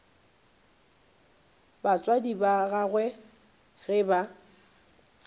batswadi ba gagwe ge ba